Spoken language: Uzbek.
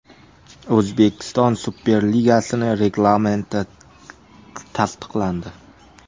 O‘zbekiston Super Ligasining reglamenti tasdiqlandi.